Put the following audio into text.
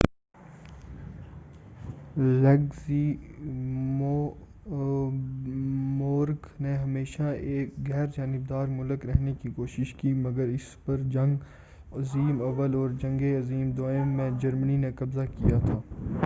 Luxembourg نے ہمیشہ ایک غیرجانبدار مُلک رہنے کی کوشش کی ہے مگر اس پر جنگ عظیم اوّل اور جنگِ عظیم دوئم میں جرمنی نے قبضہ کیا تھا